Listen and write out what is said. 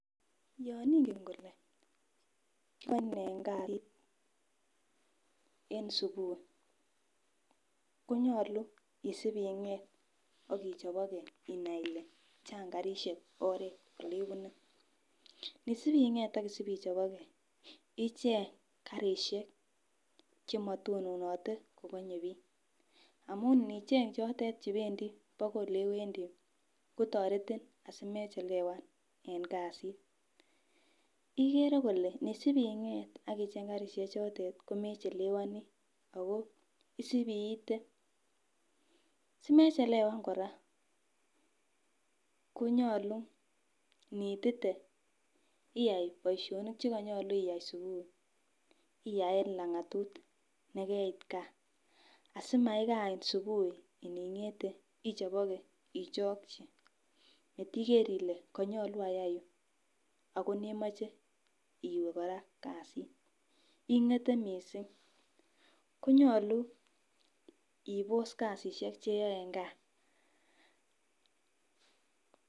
Yon ingen kole en subui konyolu isib ing'et ak ichoboke inai ile chang karisiek oret olebune nisib ing'et ak isib ichoboke icheng karisiek chemotononote kokonye biik amun nicheng chotet chebendi bakoi olewendii kotoretin asimechelewan en kasit ikere kole nisib ing'et ak icheng karisiek chotet komechelewoni ako isib iite simechelewan kora konyolu niitite iyai boisionik chekonyolu iyai subui iyai en lang'atut nekeitgaa asimakain subui ining'ete ichoboke ichokyi matiker ile konyolu ayai ni ako nemoche iwe kora kasit ing'ete missing konyolu ibos kasisiek cheyoe en gaa